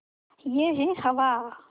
यह है हवा